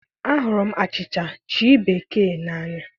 Ahụrụ m achịcha chi bekii n'anya.